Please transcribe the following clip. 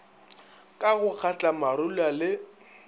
ka go kgatla marula le